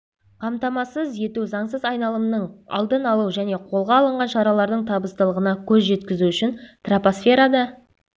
қамтамасыз ету заңсыз айналымының алдын-алу және қолға алынған шаралардың табыстылығына көз жеткізу үшін тропосферада